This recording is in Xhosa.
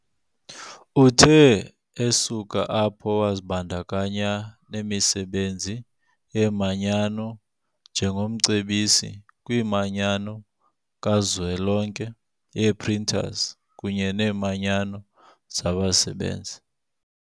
Uthe esuka apho wazibandakanya nemisebenzi yeemanyano njengomcebisi kwiManyano kaZwelonke yee-Printers kunye neeManyano zabasebenzi.